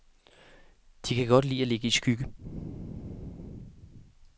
De kan godt lide at ligge i skygge.